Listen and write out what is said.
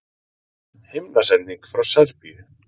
Himnasending frá Serbíu